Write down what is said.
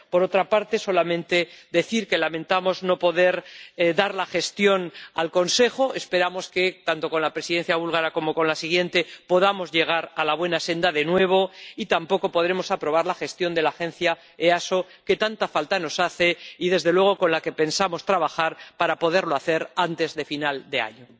Por otra parte, solamente decir que lamentamos no poder aprobar la gestión del Consejo —esperamos que tanto con la Presidencia búlgara como con la siguiente podamos llegar a la buena senda de nuevo— y tampoco podremos aprobar la gestión de la Agencia EASO, que tanta falta nos hace, y con la que desde luego pensamos trabajar para poderlo hacer antes de final de año.